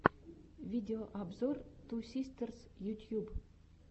видеообзор ту систерс ютьюб